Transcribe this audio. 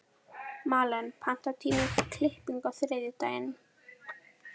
Malen, pantaðu tíma í klippingu á þriðjudaginn.